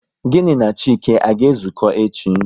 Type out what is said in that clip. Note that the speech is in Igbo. Gịnị na Chike, a ga ezuko echi?